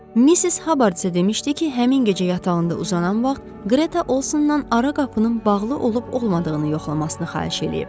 Missis Habardsa demişdi ki, həmin gecə yatağında uzanan vaxt Greta Olsondan ara qapının bağlı olub-olmadığını yoxlamasını xahiş eləyib.